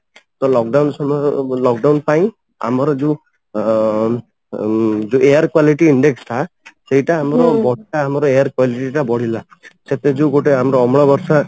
ତ lock down ସମୟ lock down ପାଇଁ ଆମର ଯୋଉ ଅମ ଉମ ଯୋଉ air quality index ଟା ସେଇଟା ଆମ ଆମର air quality ଟା ବଢ଼ିଲା ସେଥିରେ ଯୋଉଗୋଟେ ଆମର ଅମ୍ଳ ବର୍ଷା